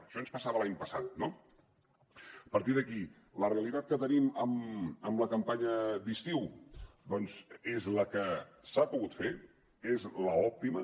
això ens passava l’any passat no a partir d’aquí la realitat que tenim amb la campanya d’estiu doncs és la que s’ha pogut fer és l’òptima